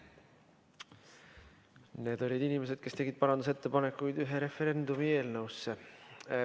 Need olid inimesed, kes tegid parandusettepanekuid ühe referendumi eelnõusse.